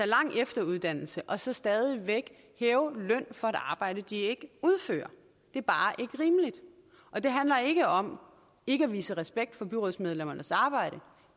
lang efteruddannelse og så stadig væk hæve løn for et arbejde de ikke udfører det er bare ikke rimeligt og det handler ikke om ikke at vise respekt for byrådsmedlemmernes arbejde